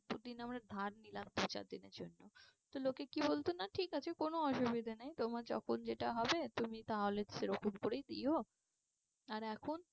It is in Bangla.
ধার নিলাম দু চার দিনের জন্য তো লোকে কি বলতো না ঠিক আছে কোনো অসুবিধা নেই তোমার যখন যেটা হবে তুমি তাহলে সেরকম করেই দিও আর এখন